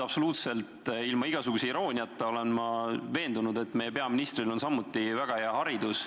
Absoluutselt ilma igasuguse irooniata olen ma veendunud, et meie peaministril on samuti väga hea haridus.